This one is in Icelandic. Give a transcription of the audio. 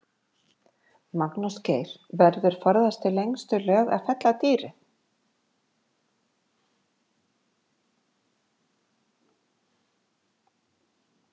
Magnús Geir: Verður forðast í lengstu lög að fella dýrið?